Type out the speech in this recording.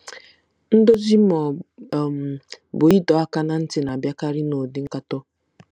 Ndozi ma ọ um bụ ịdọ aka ná ntị na-abịakarị n'ụdị nkatọ.